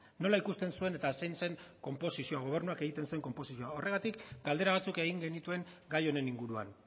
nola ikusten zuen eta zein zen konposizioa gobernuak egiten zuen konposizioa horregatik galdera batzuk egin genituen gai honen inguruan